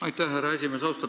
Aitäh, härra esimees!